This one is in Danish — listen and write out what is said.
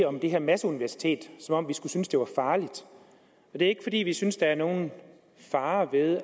om det her masseuniversitet som om vi skulle synes det var farligt det er ikke fordi vi synes der er nogen fare ved at